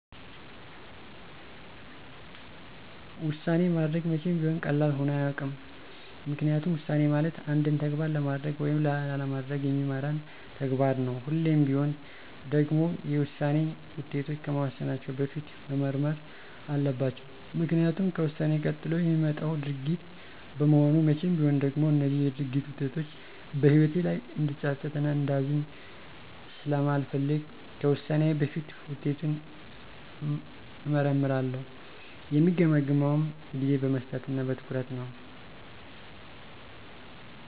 ውሳኔ ማድረግ መቼም ቢሆን ቀላል ሆኖ አያውቅም። ምክንያቱም ውሳኔ ማለት አንድን ተግባር ለማድረግ ወይም ላለማድረግ የሚመራን ተግባር ነው። ሁሌም ቢሆን ደግሞ የውሳኔ ውጤቶች ከመወሰናቸው በፊት መመርመር አለባቸው። ምክኒያቱም ከውሳኔ ቀጥሎ የሚመጣው ድርጊት በመሆኑ መቼም ቢሆን ደግሞ እነዚህ የድርጊት ውጤቶች በህይወቴ ላይ እንድፀፀት እና እንዳዝን ስለማልፈልግ ከውሳኔዬ በፊት ውጤቱን እመረረምራለሁ። የምገመግመውም ጊዜ በመስጠት እና በትኩረት ነው።